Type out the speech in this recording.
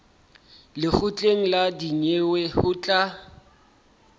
lekgotleng la dinyewe ho tla